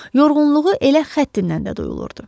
Yorğunluğu elə xəttindən də duyulurdu.